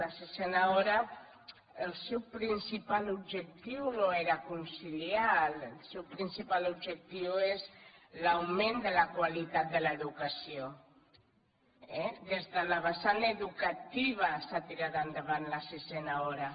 la sisena hora el seu principal objectiu no era conciliar el seu principal objectiu és l’augment de la qualitat de l’educació eh des de la vessant educativa s’ha tirat endavant la sisena hora